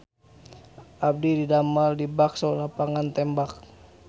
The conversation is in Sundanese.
Abdi didamel di Bakso Lapangan Tembak